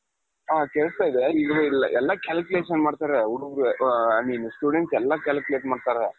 ಹ ಕೇಳುಸ್ತಾ ಇದೆ ಎಲ್ಲಾ calculation ಮಾಡ್ತಾರೆ ಹುಡುಗ್ರೆ I mean students ಎಲ್ಲಾ calculate ಮಾಡ್ತಾರೆ